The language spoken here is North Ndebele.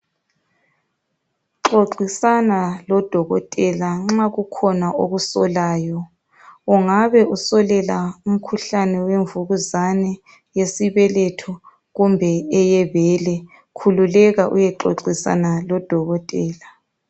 Xoxisana lodokotela nxa kukhona okusolayo ungabe usolela umkhuhlane wemvukuzani yesibeletho kumbe eyebele khululeka uyexoxisana lodokotela